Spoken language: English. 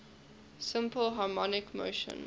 simple harmonic motion